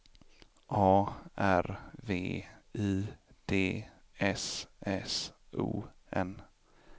A R V I D S S O N